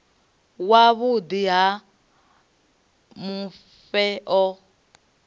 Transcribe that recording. wa vhuḓi ha mufhe a